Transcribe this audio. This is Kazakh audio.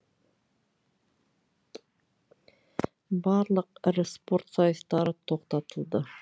барлық ірі спорт сайыстары тоқтатылды